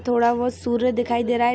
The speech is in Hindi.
थोडा बहुत सूर्य दिखाई दे रहा है।